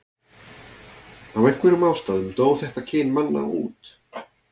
af einhverjum ástæðum dó þetta kyn manna út